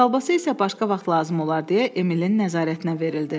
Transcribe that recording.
Kolbasa isə başqa vaxt lazım olar deyə Emilin nəzarətinə verildi.